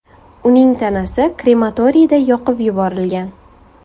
Uning tanasi krematoriyda yoqib yuborilgan.